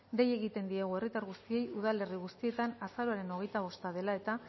dei egiten diegu herritar guztiei udalerri guztietan azaroaren hogeita bost dela eta